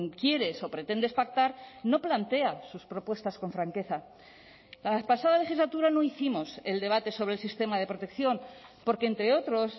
quieres o pretendes pactar no plantea sus propuestas con franqueza la pasada legislatura no hicimos el debate sobre el sistema de protección porque entre otros